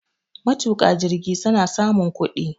Matuka jirgi suna samun kudi.